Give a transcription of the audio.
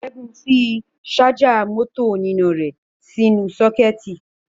Ṣẹ́gun fi ṣájà mọ́tò oníná rẹ̀ sínú sọ́kẹ́ẹ̀tì.